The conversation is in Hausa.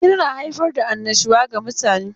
Hira na haifar da annashuwa ga mutane.